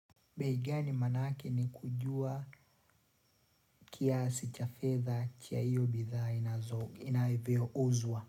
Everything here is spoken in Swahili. Bei gani manake ni kujua kiasi cha fedha cha hiyo bidha inavyouzwa.